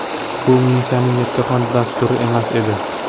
Bu Munisaning yakkaxon dasturi emas edi.